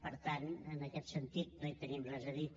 per tant en aquest sentit no hi tenim res a dir